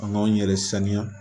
An k'an yɛrɛ saniya